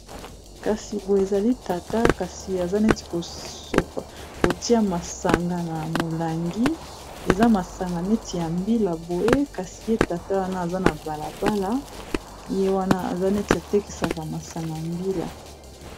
Kasi boye ezali tata kasi aza neti akotia masanga na molangi eza masanga neti ya mbila boye kasi ye tata wana aza na balabala ye wana aza neti atekesaka masanga ya mbila